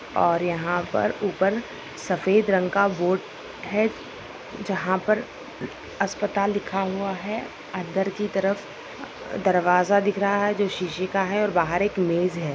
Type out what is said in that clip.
और यहां पर ऊपर सफेद रंग का बोर्ड है जहा पर अस्पताल लिखा हुआ है अंदर की तरफ दरवाजा दिख रहा है जो शीशे का है और बाहर एक मेज है।